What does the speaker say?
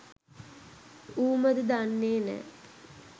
ඌමද දන්නේ නෑ